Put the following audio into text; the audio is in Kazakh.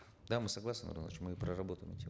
да мы согласны мы проработаем эти